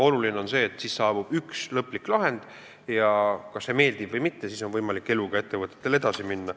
Oluline on, et tehakse lõplik lahend, ja kas see meeldib või mitte, aga ettevõte saab eluga edasi minna.